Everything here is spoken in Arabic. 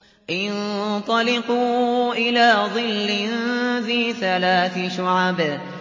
انطَلِقُوا إِلَىٰ ظِلٍّ ذِي ثَلَاثِ شُعَبٍ